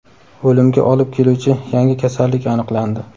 O‘limga olib keluvchi yangi kasallik aniqlandi.